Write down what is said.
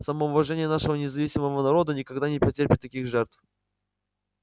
самоуважение нашего независимого народа никогда не потерпит таких жертв